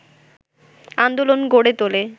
আন্দোলন গড়ে তোলে